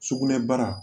Sugunɛbara